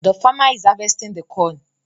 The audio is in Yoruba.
The farmer is harvesting the corn.